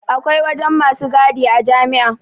Akwai wajen masu gadia jami'a